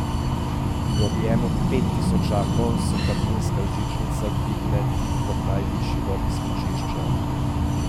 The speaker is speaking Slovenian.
V objemu pettisočakov se kabinska žičnica dvigne tik pod najvišji vrh smučišča.